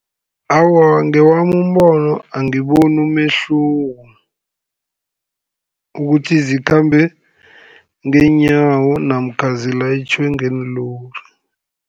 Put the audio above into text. Awa, ngewami umbono angiboni umehluko, ukuthi zikhambe ngeenyawo, namkha zilayitjhwe ngeenlori.